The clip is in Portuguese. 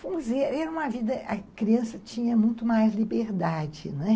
Vamos dizer, era uma vida... A criança tinha muito mais liberdade, né?